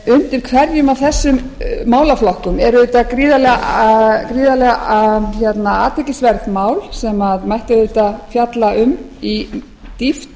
undir hverjum af þessum málaflokkum er auðvitað gríðarleg athyglisvert mál sem mætti auðvitað fjalla um í dýpt